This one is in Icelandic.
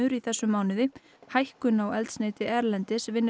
í þessum mánuði hækkun á eldsneyti erlendis vinni